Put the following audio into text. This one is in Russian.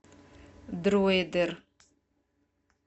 дроидер